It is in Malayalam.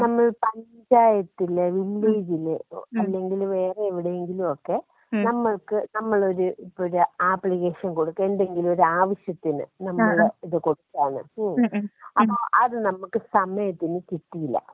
നമ്മൾ പഞ്ചായത്തില്, വില്ലേജില്, അല്ലെങ്കി വേറെ എവിടെയെങ്കിലൊക്കെ നമ്മൾക്ക് നമ്മളൊരു ഇപ്പോ ഒരു ആപ്ലിക്കേഷൻ കൊടുക്ക എന്തെങ്കിലൊരു ആവശ്യത്തിന് നമ്മളെ ഇത് കൊടുക്കാന്നു വച്ചോ *നോട്ട്‌ ക്ലിയർ* ഉം അപ്പോ അത് നമുക്ക് സമയത്തിന് കിട്ടിയില്ല.